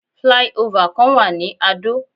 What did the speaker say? Fly over kan wà ní Adó.